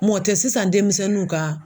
Mɔ tɛ sisan denmisɛnninw ka